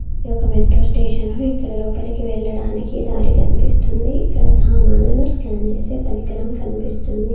ఇది ఒక metro station ఇక్కడ లోపలికి వెళ్ళడానికి దారి కన్పిస్తుంది ఇక్కడ సామాన్లను స్కాన్ చేసే పరికరం కన్పిస్తుంది.